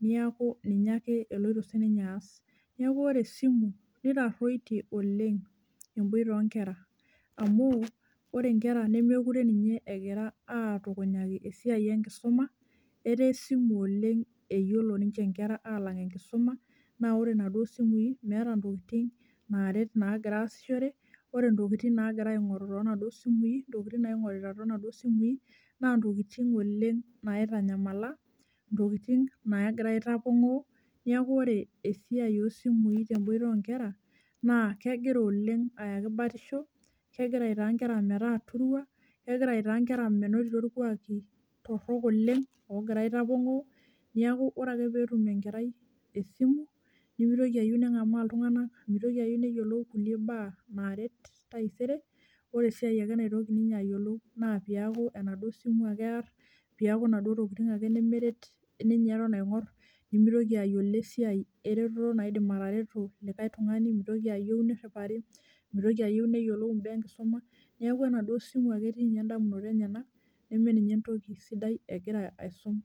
niaku ninye ake eloito sininye aas . Niaku ore esimu nitaruitie oleng emboita onkera , amu ore nkera nemekure ninye egira atukunyaki esiai enkisuma etaa esimu oleng eyiolo ninche nkera alang enkisuma, naa ore naaduo simui meeta ntokitin naaret nagira aasishore , ore ntokitin nagira aingoru tonaduo simui, ntokitin naigorita tonaduo simui naa ntokitin oleng naitanyamala , ntokitin nagira aitapongoo . Niaku ore esiai osimui temboita onkera naa kegira oleng ayaki batisho , kegira aitaa nkera metaa turua , kegira aitaa nkera menotito irkwaki torok oleng ogira aitapongoo , niaku ore ake peetum enkerai esimu nimitoki ayieu nengamaa iltunganak , mitoki ayieu neyiolu kulie baa naret taisere, ore esiai naitoki ninye ayiolou naa peaku enaduo simu ake ear , piaku inaduo tokitin ake nemeret ninye eton aingor nimitoki ayiolo esiai ereteto naidim atareto likae tungani, mitoki ayieu niriwari , mitoki ayieu neyiolou mbaa enkisuma , niaku enaduo simu ake etii ninye ndamunot enyenak neme ninye entoki sidai egira aisum.